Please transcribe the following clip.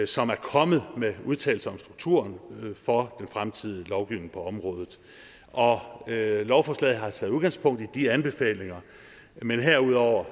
som er kommet med udtalelser om strukturen for den fremtidige lovgivning på området og lovforslaget har taget udgangspunkt i de anbefalinger men herudover